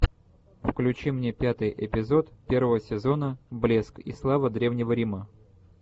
включи мне пятый эпизод первого сезона блеск и слава древнего рима